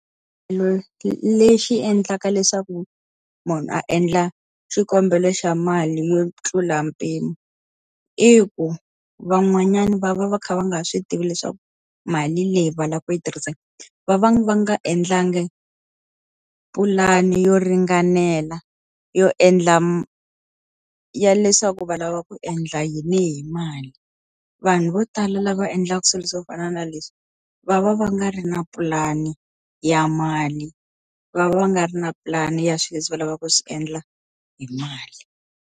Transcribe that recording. Lexi endlaka leswaku munhu a endla xikombelo xa mali yo tlula mpimo i ku, van'wanyana va va va kha va nga swi tivi leswaku mali leyi va lavaka ku yi tirhisa va va va nga endlanga pulani yo ringanela yo endla ya leswaku va lava ku endla yini hi mali. Vanhu vo tala lava endlaka swilo swo fana na leswi, va va va nga ri na pulani ya mali, va va va nga ri na pulani ya swilo leswi va lavaka ku swi endla hi mali.